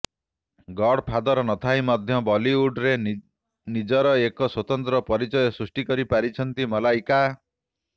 God father ନଥାଇ ମଧ୍ୟ ବଲିଉଡ଼୍ରେ ନିଜର ଏକ ସ୍ୱତନ୍ତ୍ର ପରିଚୟ ସୃଷ୍ଟି କରି ପାରିଛନ୍ତି ମଲ୍ଲାଇକା